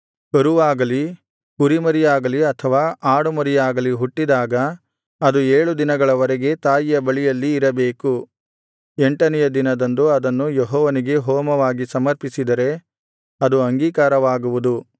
ಕರುವಾಗಲಿ ಕುರಿಮರಿಯಾಗಲಿ ಅಥವಾ ಆಡುಮರಿಯಾಗಲಿ ಹುಟ್ಟಿದಾಗ ಅದು ಏಳು ದಿನಗಳ ವರೆಗೆ ತಾಯಿಯ ಬಳಿಯಲ್ಲಿ ಇರಬೇಕು ಎಂಟನೆಯ ದಿನದಿಂದ ಅದನ್ನು ಯೆಹೋವನಿಗೆ ಹೋಮವಾಗಿ ಸಮರ್ಪಿಸಿದರೆ ಅದು ಅಂಗೀಕಾರವಾಗುವುದು